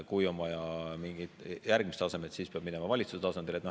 Kui on vaja mingeid järgmisi tasemeid, siis peab minema valitsuse tasandile.